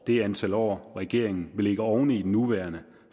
det antal år regeringen vil lægge oven i den nuværende